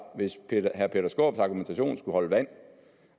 hvis herre peter skaarups argumentation skulle holde vand